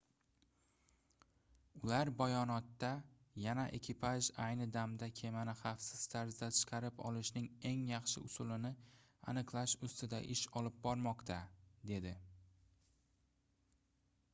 ular bayonotda yana ekipaj ayni damda kemani xavfsiz tarzda chiqarib olishning eng yaxshi usulini aniqlash ustida ish olib bormoqda dedi